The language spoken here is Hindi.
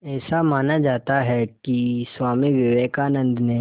ऐसा माना जाता है कि स्वामी विवेकानंद ने